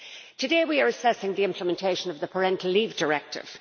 Today we are assessing the implementation of the Parental Leave Directive.